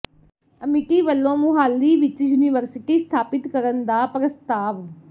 ਅਮਿਟੀ ਵੱਲੋਂ ਮੁਹਾਲੀ ਵਿੱਚ ਯੂਨੀਵਰਸਿਟੀ ਸਥਾਪਿਤ ਕਰਨ ਦਾ ਪ੍ਰਸਤਾਵ